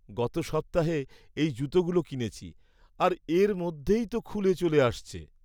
গত সপ্তাহে এই জুতোগুলো কিনেছি আর এর মধ্যেই তো খুলে চলে আসছে।